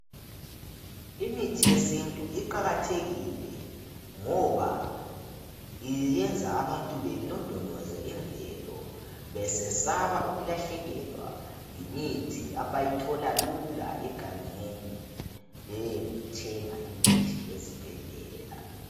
Imithi yesintu iqakathekile ngoba iyenza abantu belondoloze imvelo besesaba ukulahlekelwa yimithi abayithola lula egangeni . Beyethenga imithi ezibhedlela